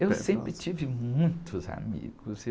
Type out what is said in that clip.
Eu sempre tive muitos amigos.